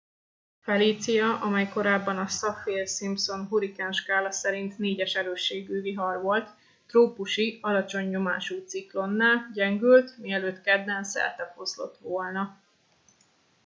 felicia amely korábban a saffir simpson hurrikánskála szerinti 4. erősségű vihar volt trópusi alacsony nyomású ciklonná gyengült mielőtt kedden szertefoszlott volna